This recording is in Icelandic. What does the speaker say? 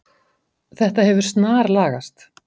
Þetta hefur snarlagast.